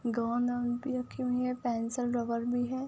गोंद वोंद भी रखी हुई है। पेंसिल रबर भी है।